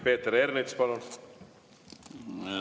Peeter Ernits, palun!